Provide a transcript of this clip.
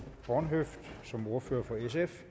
for